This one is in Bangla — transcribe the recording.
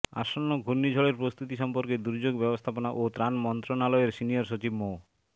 আসন্ন ঘূর্ণিঝড়ের প্র্রস্তুতি সম্পর্কে দুর্যোগ ব্যবস্থাপনা ও ত্রাণ মন্ত্রণালয়ের সিনিয়র সচিব মো